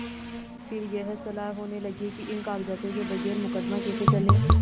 फिर यह सलाह होने लगी कि इन कागजातों के बगैर मुकदमा कैसे चले